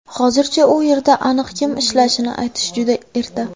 Hozircha u yerda aniq kim ishlashini aytish juda erta.